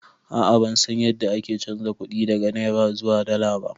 A'a bansan yadda ake chanza kuɗi daga naira zuwa dala ba